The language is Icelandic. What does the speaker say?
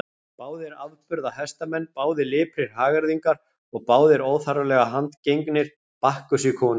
Báðir afburða hestamenn, báðir liprir hagyrðingar og báðir óþarflega handgengnir Bakkusi konungi.